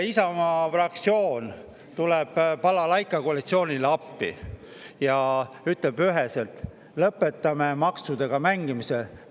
Isamaa fraktsioon tuleb balalaikakoalitsioonile appi ja ütleb üheselt: "Lõpetame maksudega mängimise!